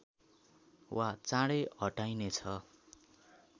वा चाँडै हटाइनेछ